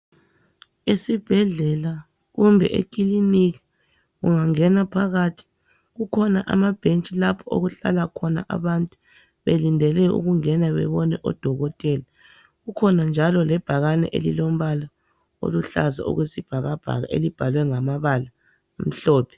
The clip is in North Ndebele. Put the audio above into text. Isibhedlela kumbe ekiliniki ungangena phakathi kujhona amabhentshi lapho okuhlala khona abantu belindele ukungena bebone odokotela. Kukhona njalo lebhakane elilombala oluhlaza okwesibhakabhaka elibhalwe ngamabala omhlophe.